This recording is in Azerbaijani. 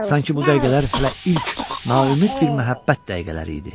Sanki bu dəqiqələr hələ ilk naümid bir məhəbbət dəqiqələri idi.